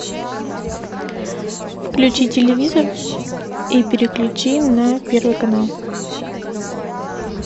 включи телевизор и переключи на первый канал